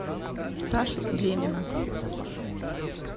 сашу демина